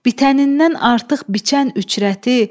Bitənindən artıq biçən üçrəti.